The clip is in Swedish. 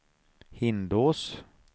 Hindås